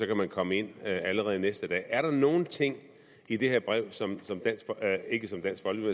kan komme ind allerede næste dag er der nogle ting i det her brev som